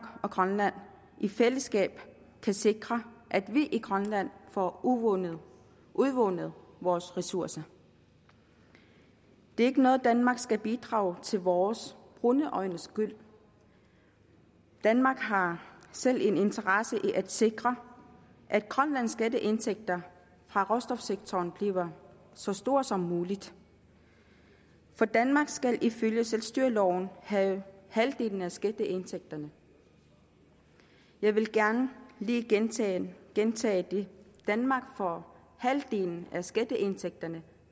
og grønland i fællesskab kan sikre at vi i grønland får udvundet udvundet vores ressourcer det er ikke noget danmark skal bidrage til for vores brune øjnes skyld danmark har selv en interesse i at sikre at grønlands skatteindtægter fra råstofsektoren bliver så store som muligt for danmark skal ifølge selvstyreloven have halvdelen af skatteindtægterne jeg vil gerne lige gentage gentage det danmark får halvdelen af skatteindtægterne